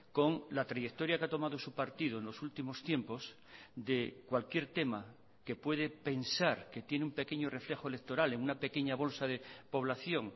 con la trayectoria que ha tomado su partido en los últimos tiempos de cualquier tema que puede pensar que tiene un pequeño reflejo electoral en una pequeña bolsa de población